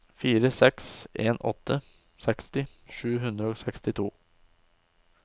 fire seks en åtte seksti sju hundre og sekstito